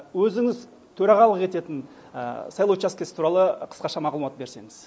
өзіңіз төрағалық ететін сайлау учаскісі туралы қысқаша мағлұмат берсеңіз